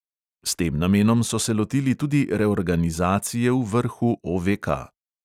S tem namenom so se lotili tudi reorganizacije v vrhu OVK.